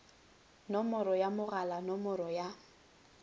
nomoro ya mogala nomoro ya